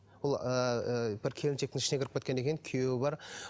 бұл ыыы бір келіншектің ішіне кіріп кеткен екен күйеуі бар